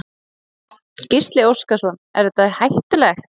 Gísli Óskarsson: Er þetta er hættulegt?